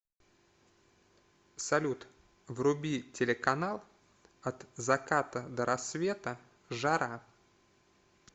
салют вруби телеканал от заката до рассвета жара